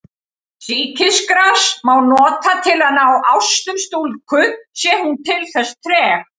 Sýkisgras má nota til að ná ástum stúlku sé hún til þess treg.